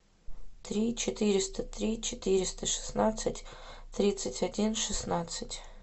три четыреста три четыреста шестнадцать тридцать один шестнадцать